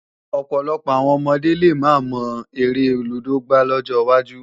Ọ̀pọ̀lọpọ̀ àwọn ọmọdé lè máa mọ eré lúdò gbá lọ́jọ wájú